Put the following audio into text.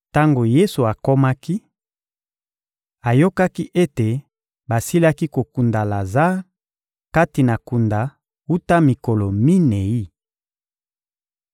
Tango Yesu akomaki, ayokaki ete basilaki kokunda Lazare kati na kunda wuta mikolo minei.